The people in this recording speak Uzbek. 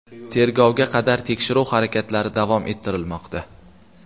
Tergovga qadar tekshiruv harakatlari davom ettirilmoqda.